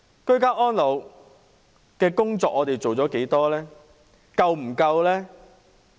居家安老的工作做了多少呢？